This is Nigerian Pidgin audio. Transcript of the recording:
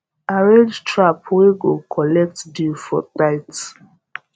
arrange trap wey go collect dew for night